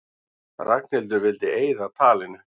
Ragnhildur vildi eyða talinu.